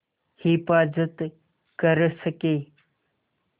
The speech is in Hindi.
हिफ़ाज़त कर सकें